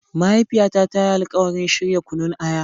Mahaifiyata ta yi alkawarin shirya Kunun aya.